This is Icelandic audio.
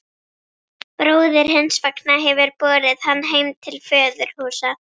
Bróðir hins vegna hefur borið hann heim til föðurhúsa.